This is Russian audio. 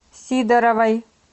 сидоровой